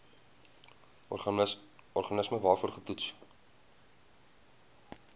organisme waarvoor getoets